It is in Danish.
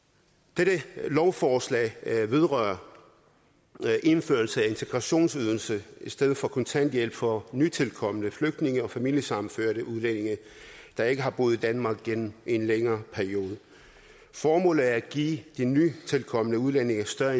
dette lovforslag vedrører indførelse af integrationsydelse i stedet for kontanthjælp for nytilkomne flygtninge og familiesammenførte udlændinge der ikke har boet i danmark gennem en længere periode formålet er at give de nytilkomne udlændinge større